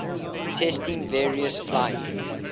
testing various flying